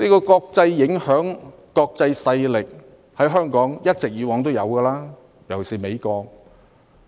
國際影響及國際勢力，過去在香港一直存在，尤其是美國。